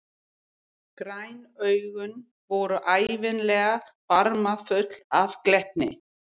Græn augun voru ævinlega barmafull af glettni.